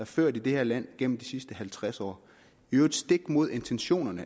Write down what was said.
ført i det her land gennem de sidste halvtreds år i øvrigt stik imod intentionerne